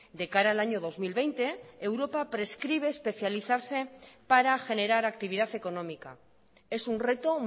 de cara al año dos mil veinte europa prescribe especializarse para generar actividad económica es un reto